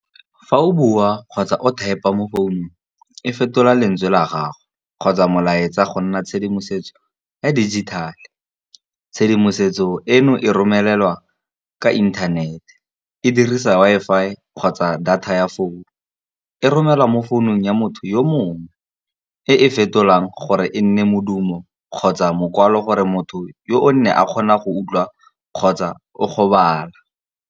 Fa o bua kgotsa o thaepa mo founung e fetola lentswe la gago, kgotsa molaetsa go nna tshedimosetso ya dijithale. Tshedimosetso eno e romelelwa ka inthanete e dirisa Wi-Fi kgotsa data ya founu. E romelwa mo founung ya motho yo mongwe, e e fetolang gore e nne modumo kgotsa mokwalo gore motho yo o nne a kgona go utlwa kgotsa go bala.